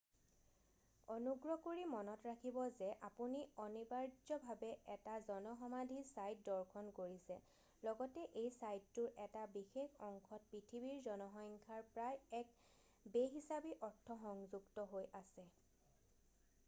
অনুগ্ৰহ কৰি মনত ৰাখিব যে আপুনি অনিবাৰ্যভাৱে এটা জন সমাধি ছাইট দৰ্শন কৰিছে লগতে এই ছাইটটোৰ এটা বিশেষ অংশত পৃথিৱীৰ জনসংখ্যাৰ প্ৰায় এক বে-হিচাবী অৰ্থ সংযুক্ত হৈ আছে